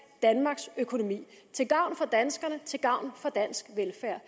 danmarks økonomi til gavn for danskerne til gavn for dansk velfærd